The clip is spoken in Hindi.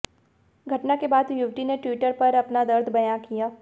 घटना के बाद युवती ने ट्विटर पर अपना दर्द बयां किया